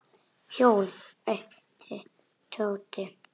Hjól? æpti Tóti.